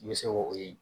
I bɛ se k'o ye